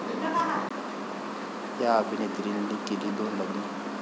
...या अभिनेत्रींनी केली दोन लग्न